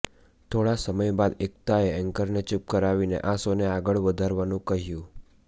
થોડા સમય બાદ એકતાએ એંકરને ચુપ કરાવીને આ શો ને આગળ વધારવાનું કહ્યું